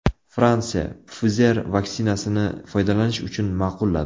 Fransiya Pfizer vaksinasini foydalanish uchun ma’qulladi.